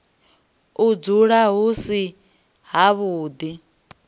u dzula hu si havhuḓi